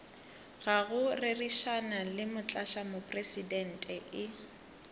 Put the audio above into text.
ga go rerišana le motlatšamopresidente